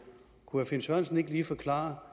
kunne herre finn sørensen ikke lige forklare